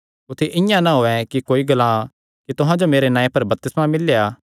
कुत्थी इआं ना होयैं कि कोई ग्लां कि तुहां जो मेरे नांऐ पर बपतिस्मा मिल्लेया